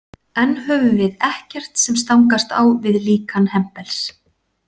Enn höfum við ekkert sem stangast á við líkan Hempels.